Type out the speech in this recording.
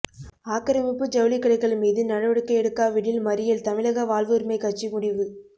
ஆக்கிரமிப்பு ஜவுளிக்கடைகள் மீது நடவடிக்கை எடுக்காவிடில் மறியல் தமிழக வாழ்வுரிமைக் கட்சி முடிவு